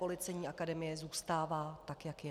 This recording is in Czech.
Policejní akademie zůstává tak, jak je.